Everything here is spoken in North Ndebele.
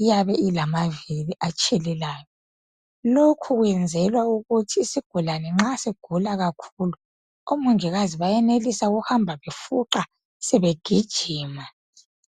iyabe ilamaviri atshelelayo lokhu kwenzelwa ukuthi isigulane nxa sigula kakhulu omongikazi benelisa ukuhamba befuqa sebegijima.